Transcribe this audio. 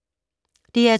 DR2